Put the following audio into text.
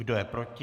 Kdo je proti?